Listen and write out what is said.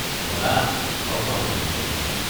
মজা, ল’গ পাম তেনেহ’লে তোমাক!